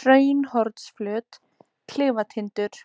Hraunhornsflöt, Klifatindur